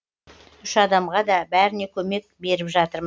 үш адамға да бәріне көмек беріп жатырмыз